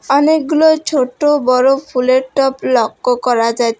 অনেকগুলো ছোটো বড়ো ফুলের টব লক্ষ্য করা যাছ--